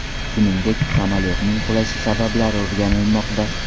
Shuningdek, samolyotning qulashi sabablari o‘rganilmoqda.